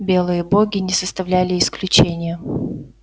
белые боги не составляли исключения